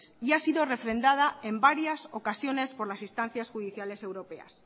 y ha sido refrendada en varias ocasiones por las instancias judiciales europeas